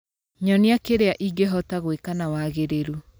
nyonia kĩrĩa ingĩhota gwĩka na wagĩrĩrũ